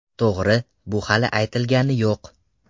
To‘g‘ri, bu hali aytilgani yo‘q.